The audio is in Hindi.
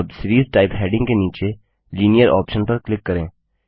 अब सीरीज टाइप हैडिंग के नीचे लिनियर ऑप्शन पर क्लिक करें